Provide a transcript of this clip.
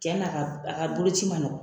Tiɲɛna a ka boloci man nɔgɔn